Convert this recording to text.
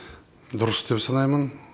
дұрыс деп санаймын